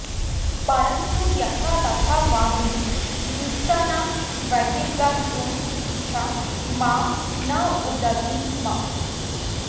परं तु यथा तथा वा हिन्दुस्थानाद्बहिर्गन्तुमिच्छा मां नुदति स्म